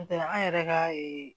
N'o tɛ an yɛrɛ ka